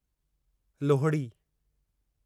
Lohri